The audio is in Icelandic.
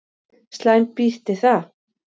Slæm býti það.